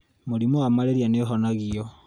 mũrimũ wa mararia nĩ ũhonagio